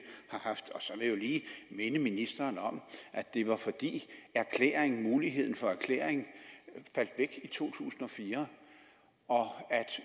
har haft så vil jeg lige minde ministeren om at det var fordi muligheden for erklæring faldt væk i to tusind og fire